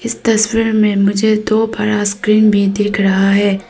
इस तस्वीर में मुझे दो बड़ा स्क्रीन भी दिख रहा है।